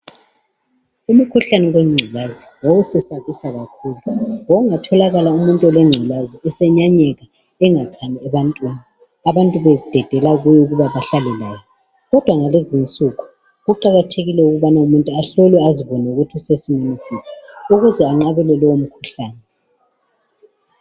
Umkhuhlane wengculazi wawusesabisa kakhulu. Kwakungatholakala umuntu olengculazi esenyanyeka, engakhanyi ebantwini . Abantu bededela kuwo ukuba bahlale laye. Kodwa ngalezinsuku kuqakathekile ukubana umuntu ahlolwe azibone ukuthi usesimeni siphi ukuze anqabele lowomkhuhlane.